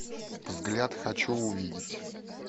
взгляд хочу увидеть